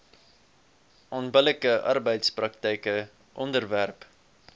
onbillike arbeidspraktyke onderwerp